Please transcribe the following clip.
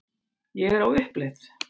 Ég er á uppleið.